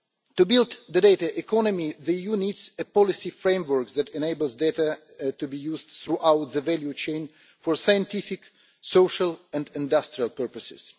To build the data economy the EU needs a policy framework that enables data to be used throughout the value chain for scientific, social and industrial purposes.